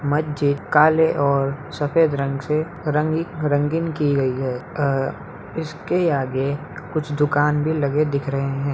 मस्जिद काले और सफ़ेद रंग से रंगी--रंगीन की गई हैअ इसके आगे कुछ दुकान भी लगे दिख रहे है।